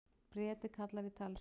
Breti kallar í talstöð.